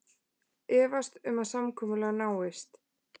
Efast um að samkomulag náist